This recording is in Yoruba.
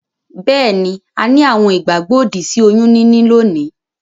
Beeni, a ni àwon ìgbàgbó òdì sí oyún níní lónìí